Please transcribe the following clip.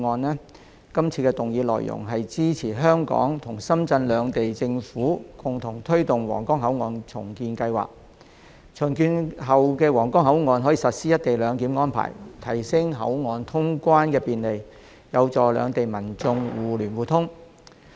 是項議案的內容是支持香港與深圳兩地政府共同推動皇崗口岸重建計劃，並在重建後的皇崗口岸實施"一地兩檢"安排，提升口岸通關便利，有助兩地民眾互聯互通。